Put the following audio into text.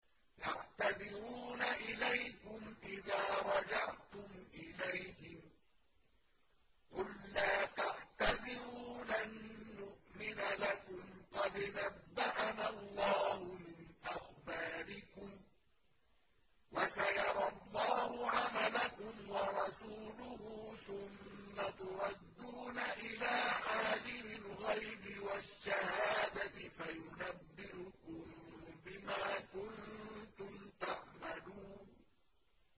يَعْتَذِرُونَ إِلَيْكُمْ إِذَا رَجَعْتُمْ إِلَيْهِمْ ۚ قُل لَّا تَعْتَذِرُوا لَن نُّؤْمِنَ لَكُمْ قَدْ نَبَّأَنَا اللَّهُ مِنْ أَخْبَارِكُمْ ۚ وَسَيَرَى اللَّهُ عَمَلَكُمْ وَرَسُولُهُ ثُمَّ تُرَدُّونَ إِلَىٰ عَالِمِ الْغَيْبِ وَالشَّهَادَةِ فَيُنَبِّئُكُم بِمَا كُنتُمْ تَعْمَلُونَ